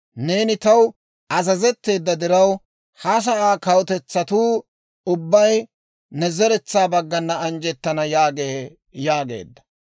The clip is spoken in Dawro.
Neeni taw azazetteedda diraw, ha sa'aa kawutetsatuu ubbay ne zeretsaa baggana anjjettana› yaagee» yaageedda.